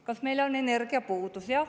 Kas meil on energiapuudus?